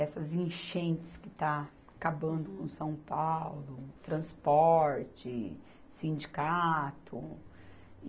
essas enchentes que está acabando em São Paulo, transporte, sindicato.